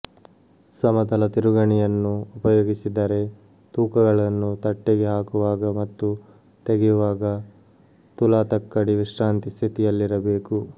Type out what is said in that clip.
ಸಮತಲ ತಿರುಗಣಿಯನ್ನು ಉಪಯೋಗಿಸಿದರೆ ತೂಕಗಳನ್ನು ತಟ್ಟೆಗೆ ಹಾಕುವಾಗ ಮತ್ತು ತೆಗೆಯುವಾಗ ತುಲಾತಕ್ಕಡಿ ವಿಶ್ರಾಂತಿ ಸ್ಥಿತಿಯಲ್ಲಿರಬೇಕು